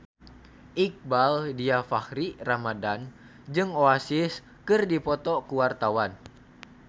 Iqbaal Dhiafakhri Ramadhan jeung Oasis keur dipoto ku wartawan